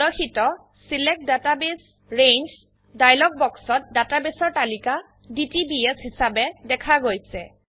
প্ৰদৰ্শিত ছিলেক্ট ডাটাবাছে range dialog বাক্সত ডেটাবেসৰ তালিকা ডিটিবিএছ হিচাবে দেখা গৈছে